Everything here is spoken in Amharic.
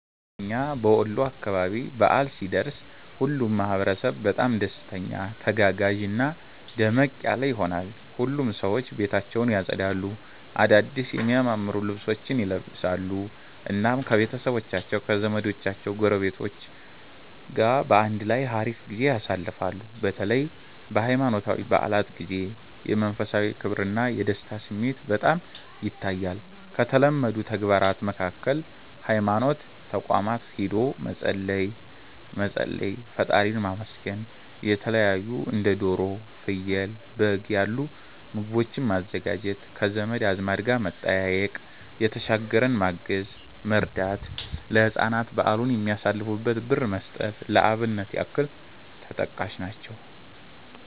በእና በወሎ አካባቢ በዓል ሲደርስ ሁሉም ማህበረሰብ በጣም ደስተኛ፣ ተጋጋዥና ደመቅ ያለ ይሆናል። ሁሉም ሰዎች ቤታቸውን ያፀዳሉ፣ አዳድስ የሚያማምሩ ልብሶችን ይለብሳሉ፣ እናም ከቤተሰቦቻቸው ከዘመዶቻቸው ጎረቤቶች ጋር በአንድ ላይ ሀሪፍ ጊዜ ያሳልፋሉ። በተለይ በሃይማኖታዊ በዓላት ጊዜ የመንፈሳዊ ክብርና የደስታ ስሜት በጣም ይታያል። ከተለመዱ ተግባራት መካከል ሀይማኖት ተቋማት ሂዶ መፀለይ፣ መፀለይ (ፈጣሪን ማመስገን)፣የተለታዩ እንደ ዶሮ፣ ፍየል፣ በግ ያሉ ምግቦችን ማዘጋጀት፣ ከዘመድ አዝማድ ጋር መጠያየቅ፣ የተሸገረን ማገዝ(መርዳት)፣ ለህፃናት በዓሉን የሚያሳልፉበትን ብር መስጠት ለአብነት ያክል ተጠቃሽ ናቸው።